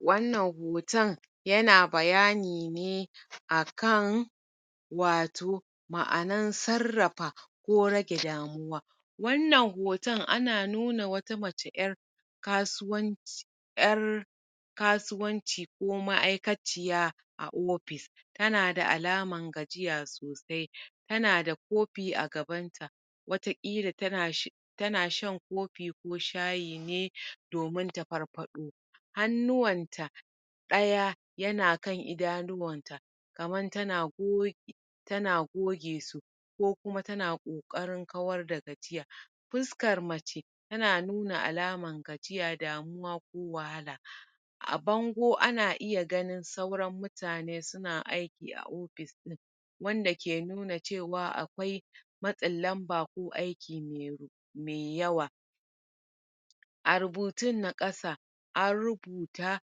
wannan hoton yana bayani ne akan wato ma'anan sarrafa ko rage damuwa wannan hoton ana nuna wata mace ƴar kasuwan ƴar kasuwanci ko ma'aikaciya a opis tana da alaman gajiya sosai tana da kopi a gaban ta wata kila tanashan kopi ko shayi ne domin ta farfaɗo. hannuwanta ɗaya yana kan idanuwan ta kaman tana go tana goge su ko kuma tana ƙoƙarin kawar da gajiya fuskar mace tana nuna alaman gajiya damuwa ko wahala a bango ana iya ganin sauran mutane suna aiki a wanda ke nuna cewa akwai matsin lamba ko aiki me yawa a rubutun na ƙasa an rubuta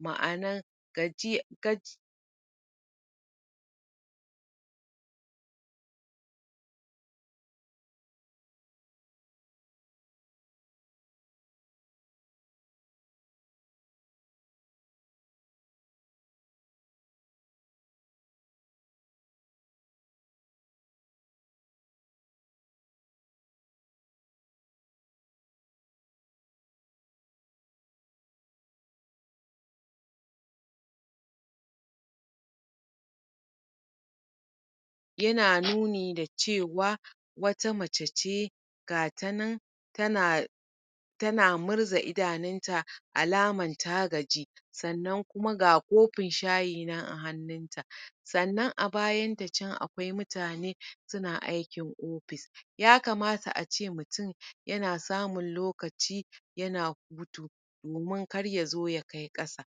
ma'anan gaji gaji ?] yana nuni da cewa wata mace ce gatanan tana tana murza idanun ta alaman ta gaji sannan kuma a kopin shayi nan a hannun ta sannan a bayan ta can akwai mutane suna aikin opis ya kamata ace mutum yana samun lokaci yana domin kar yazo ya kai ƙasa.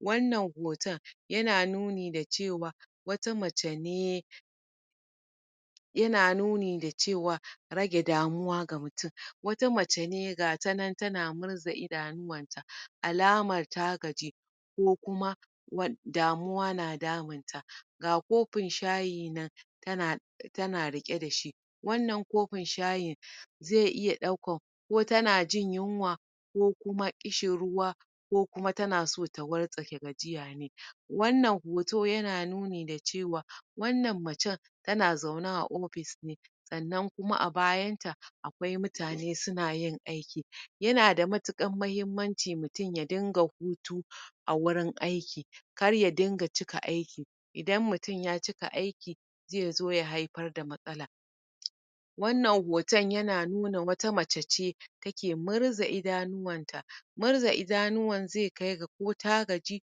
wannan hoton yana nuni da cewa wata mace ne yana nuni da cewa rage damuwa ga mutum wata mace ne gatanan tana murza idanuwan ta alamar ta gaji ko kuma damuwa na damun ta ga kopin shayi nan tana tana riƙe dashi wannan kopin shayin zai iya ɗaukan ko tanajin yunwa ko kuma ƙishin ruwa ko kuma tanaso ta wartsake gajiya ne wannan hoto yana nuni da cewa wannan macen tana zaune a opis sannan kuma a bayan ta akwai mutane sunayin aiki yana da matuƙan mahimmanci mutum ya dinga hutu a wurin aiki kar ya dinga cika aiki idan mutum ya cika aiki zaizo ya haifar da matsala wannan hoton yana nuna wata mace ce take murza idanuwan ta murza idanuwan zai kai ga ko ta gaji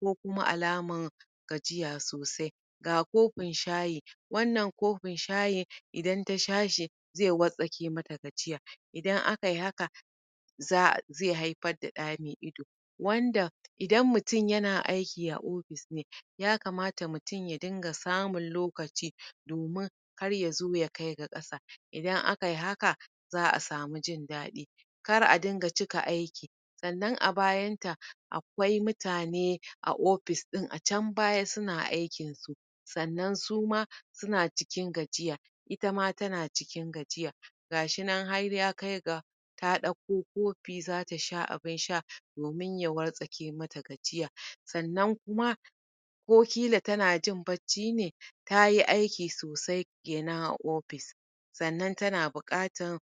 ko kuma alaman gajiya sosai ga kopin shayi wannan kopin shayin idan ta sha shi zai wartsake mata gajiya idan akayi haka za'a zai haifar da ɗa mai ido. wanda idan mutum yana aiki a opis ne yakamata mutum ya dinga samun lokaci domin kar yazo ya kaiga ƙasa idan akayi haka za'a samu jin daɗi. kar a dinga cika aiki sannan a bayan ta akwai mutane a opis din a can baya suna aikin su sannan suma suna cikin gajiya itama tana cikin gajiya gashinan har ya kai ga ta ɗauko kopi zata sha abun sha domin ya wartsake mata gajiya sannan kuma o kila tanajin bacci ne tayi aiki sosai kenan a opis sannan tana buƙatan.